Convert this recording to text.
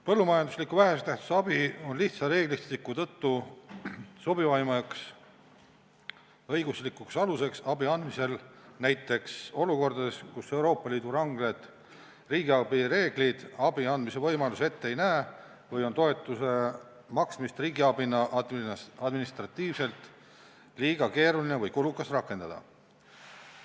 Põllumajanduslik vähese tähtsusega abi on lihtsa reeglistiku tõttu sobivaim õiguslik alus abi andmisel näiteks olukordades, kus Euroopa Liidu ranged riigiabi reeglid abi andmise võimalusi ette ei näe või on toetuse maksmist riigiabina administratiivselt liiga keeruline või kulukas rakendada.